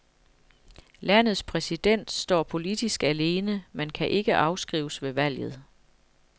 Landets præsident står politisk alene, men kan ikke afskrives ved valget.